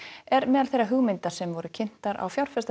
er meðal þeirra hugmynda sem voru kynntar á